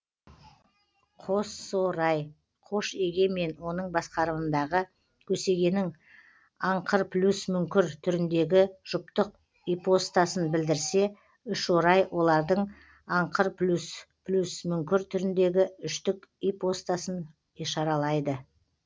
қосорай қош еге мен оның басқарымындағы көсегенің аңқырплюсмүңкір түріндегі жұптық ипостасын білдірсе үшорай олардың аңқырплюс плюсмүңкір түріндегі үштік ипостасын ишаралайды